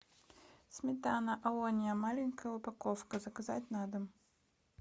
сметана олония маленькая упаковка заказать на дом